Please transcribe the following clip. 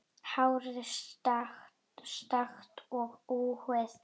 Hárið er stökkt og húðin.